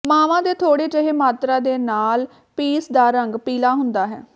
ਮਾਵਾਂ ਦੇ ਥੋੜ੍ਹੇ ਜਿਹੇ ਮਾਤਰਾ ਦੇ ਨਾਲ ਪੀਸ ਦਾ ਰੰਗ ਪੀਲਾ ਹੁੰਦਾ ਹੈ